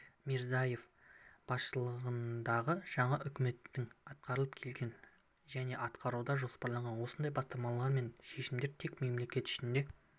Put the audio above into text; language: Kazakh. мирзиеев басшылығындағы жаңа үкіметтің атқарып келген және атқаруды жоспарлаған осындай бастамалары мен шешімдері тек мемлекет ішінде